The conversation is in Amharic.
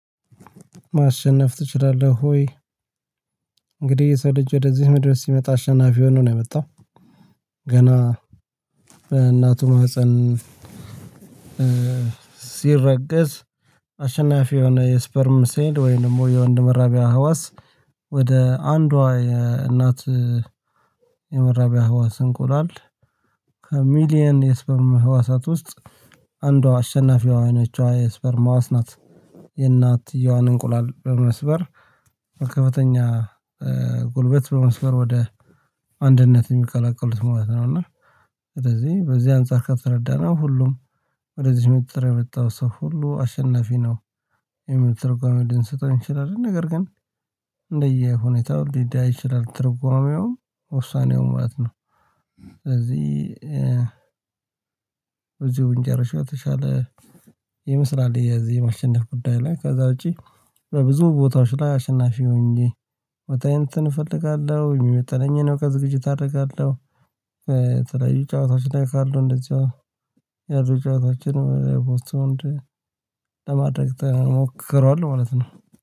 ማሸነፍ ትችላለህ ወይ? እንግዲህ የሰው ልጅ ወደዚህ ምድር ሲመጣ አሸናፊ ሆኖ ነው የመጣው። ገና እናቱን ማህፀን ሲረገዝ አሸናፊ የሆነ የስፐርም ሴል ወይም ደግሞ የወንድ መራቢያ ህዋስ ወደ አንዷ የእናት የመራቢያ ህዋስ እንቆላል ከሚሊየን የስፐርም ህዋሳት ውስጥ አንዷ አሸናፊ የሆነችዋ የስፐርም ህዋስ ናት የእናትየዋን እንቁላል በመስበር ከፍተኛ ጉልበት በመስበር ወደ አንድነት የሚቀላቀሉት ማለት ነው። እና ስለዚህ በዚህ አንፃር ከተረዳነው ሁሉም ወደዚህ ምድር የመጣ ሰው ሁሉ አሸናፊ ነው የሚል ትርጓሜ ልንሰጠው እንችላለን ነገር ግን እንደየሁኔታው ሊለያይ ይችላል ትርጓሜው ውሳኔው ማለት ነው ስለዚህ ብንጨርሰው የተሻለ ይመስላል የዚህ የማሸነፍ ጉዳይ ላይ። ከዛ ውጪ በብዙ ቦታዎች ላይ አሸናፊ ሆኜ ቦታዬን እንትን እፈልጋለሁ የሚመጥነኝን በቃ ዝግጅት አደርጋለሁ የተለያዩ ጨዋታዎች ላይ ካሉ እንደዚሁ ያሉ ጨዋታዎችን ለማድረግ ተሞክሯል ማለት ነው።